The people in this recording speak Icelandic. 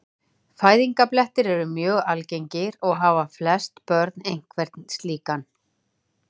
Fæðingarblettir eru mjög algengir og hafa flest börn einhvern slíkan.